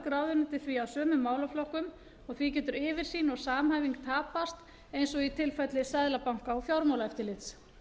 mörg ráðuneyti því að sömu málaflokkum og því getur yfirsýn og samhæfing tapast eins og í tilfelli seðlabanka og fjármálaeftirlits